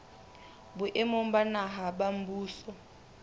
boemong ba naha ba mmuso